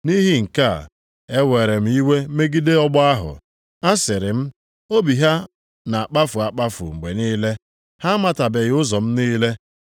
Nʼihi nke a, ewere m iwe megide ọgbọ ahụ. Asịrị m, ‘Obi ha na-akpafu akpafu mgbe niile. Ha amatabeghị ụzọ m niile.’